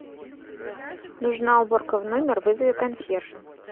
нужна уборка в номер вызови консьержа